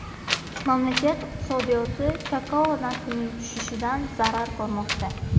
Mamlakat iqtisodiyoti kakao narxining tushishidan zarar ko‘rmoqda.